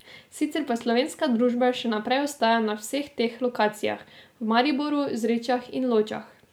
Sicer pa slovenska družba še naprej ostaja na vseh treh lokacijah, v Mariboru, Zrečah in Ločah.